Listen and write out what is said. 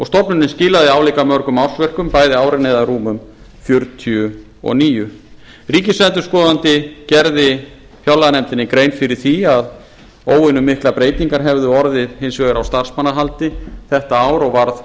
stofnunin skilaði álíka mörgum ársverkum bæði árin eða rúmum fjörutíu og níu ríkisendurskoðandi gerði fjárlaganefndinni grein fyrir því að óvenjumiklar breytingar hefðu orðið hins vegar á starfsmannahaldi þetta ár og varð